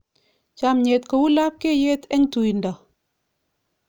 Chomnyet kou lapkeiyet eng tuindo.